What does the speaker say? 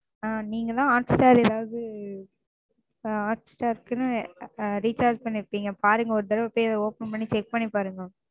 ஆ நீங்க தான் Hotstar ஏதாவது ஆ Hotstar க்குன்னு Recharge பண்ணிருப்பீங்க பாருங்க ஒரு தடவ போய் Open பண்ணி Check பண்ணி பாருங்க.